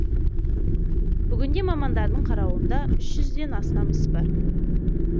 бүгінде мамандардың қарауында үш жүзден астам іс бар